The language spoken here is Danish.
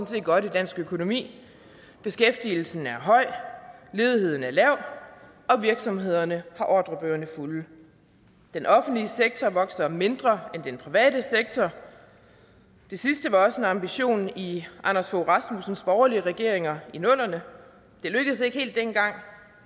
set godt i dansk økonomi beskæftigelsen er høj ledigheden er lav og virksomhederne har ordrebøgerne fulde den offentlige sektor vokser mindre end den private sektor det sidste var også en ambition i anders fogh rasmussens borgerlige regeringer i nullerne det lykkedes ikke helt dengang